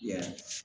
Yɛrɛ